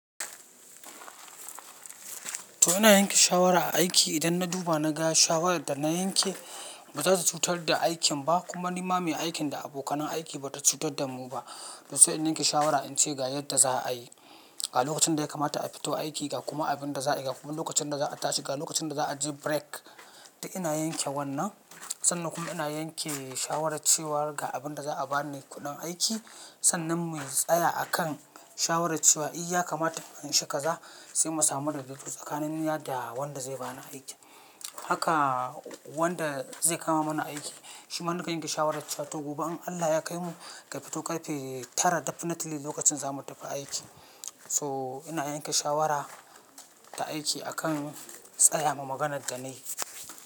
To ina yanke shawara aiki idan na duba na ga shawarar da na yanke ba za ta cutar da aikin ba kuma ni ma mai aikin da abokan aiki ba ta cutar da mu ba. To sai in yanke shawara in ce ga yadda za a yi, ga lokacin da ya kamata a fito aiki, ga kuma abin da za a yi, ga kuma lokacin da za a tashi, ga lokacin da za a je break. Da ina yanke wannan sannan kuma ina yanke shawarar cewa ga abin da za a ba ni kudin aiki sannan mu yi tsaya a kan shawarar cewa iya kamata in anshi kaza sai mu samu rubutu tsakanin ni da wanda zai bani aiki. Haka wanda zai kama mana aiki shi mana ka yanke shawarar cewa to gobe in Allah ya kai mu ka fito kafe tara definitely lokacin za mu tafi aiki. So ina yanke shawara ta aiki akan tsaya ma maganar da na yi.